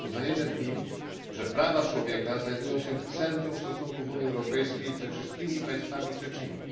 Uznajemy w nim, że prawa człowieka znajdują się w centrum stosunków Unii Europejskiej ze wszystkimi państwami trzecimi.